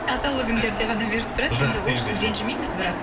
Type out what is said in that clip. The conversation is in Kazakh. атаулы күндерде ғана беріп тұрады ол үшін ренжімейміз бірақ